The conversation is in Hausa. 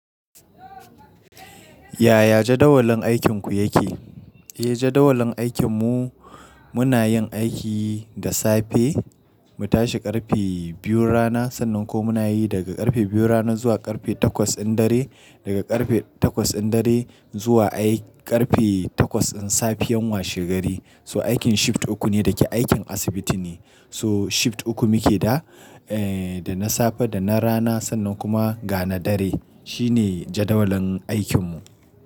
Yaya jadawalin aikinku yake? Eh jadawalin aikinmu muna yin aiki da safe mu tashi ƙarfe biyun rana, sannan kuma mu na yi daga ƙarfe biyun rana zuwa ƙarfe takwas in dare, daga ƙarfe takwas in dare zuwa ai ƙarfe takwas in safiyan washe gari. So aikin shift uku ne da ke aikin asibiti ne. So shift uku muke da, eh dana safe, dana rana sannan kuma ga na dare. Shi ne jadawalin aikinmu.